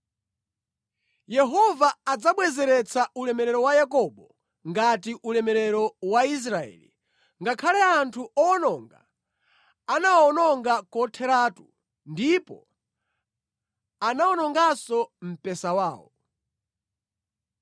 Yehova adzabwezeretsa ulemerero wa Yakobo ngati ulemerero wa Israeli, ngakhale anthu owononga anawawononga kotheratu ndipo anawononganso mpesa wawo.